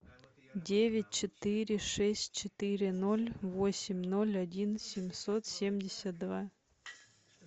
девять четыре шесть четыре ноль восемь ноль один семьсот семьдесят два